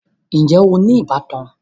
Ǹjẹ́ o ní ìbátan?